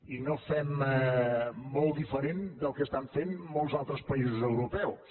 i no ho fem molt diferent del que estan fent molts altres països europeus